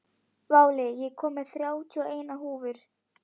Váli, ég kom með þrjátíu og eina húfur!